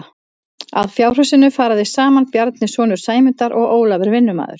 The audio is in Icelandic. Að fjárhúsinu fara þeir saman Bjarni sonur Sæmundar og Ólafur vinnumaður.